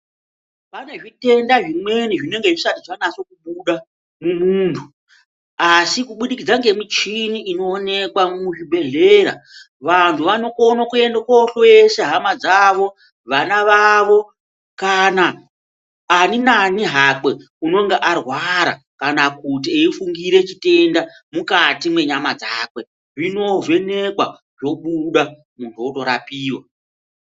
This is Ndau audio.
Pane zvitenda zvimweni zvinenge zvisati zvanase kubuda mumwiri, asi kubudikidza ngemichini inoonekwa muzvibhedhlera. Vantu vanokone kuenda kohloyesa, hama dzavo, vana vavo kana ani nani hakwe unonga arwara kana kuti eifungire chitenda mukati mwenyama dzake, zvinovhenekwa zvobuda muntu ondorapiwa.